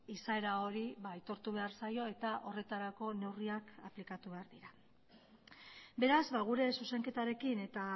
izaera hori aitortu behar zaio eta horretarako neurriak aplikatu behar dira beraz gure zuzenketarekin eta